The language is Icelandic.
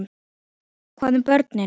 Hvað um börnin?